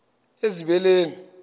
ezibeleni